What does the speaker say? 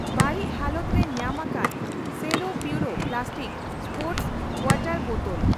ᱵᱟᱹᱲᱤᱪ ᱦᱟᱞᱚᱛ ᱨᱮ ᱧᱟᱢ ᱟᱠᱟᱱ Cello Puro plastic sports water bottle.